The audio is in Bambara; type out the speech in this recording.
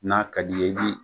N'a ka di ye, i bi